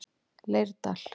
Leirdal